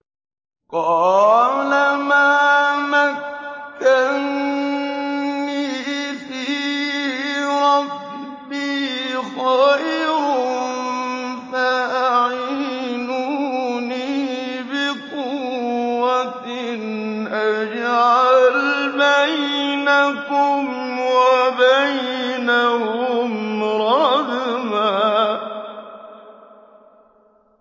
قَالَ مَا مَكَّنِّي فِيهِ رَبِّي خَيْرٌ فَأَعِينُونِي بِقُوَّةٍ أَجْعَلْ بَيْنَكُمْ وَبَيْنَهُمْ رَدْمًا